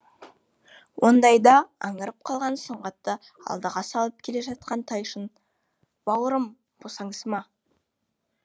ондайда аңырып қалған сұңғатты алдыға салып келе жатқан тайшын бауырым босаңсыма